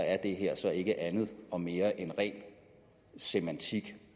er det her så ikke andet og mere end ren semantik